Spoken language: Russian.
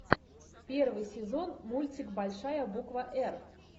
первый сезон мультик большая буква р